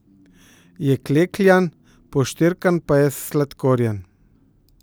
Je klekljan, poštirkan pa je s sladkorjem.